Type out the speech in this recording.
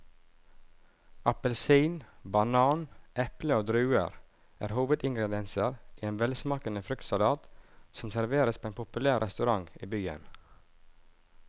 Appelsin, banan, eple og druer er hovedingredienser i en velsmakende fruktsalat som serveres på en populær restaurant i byen.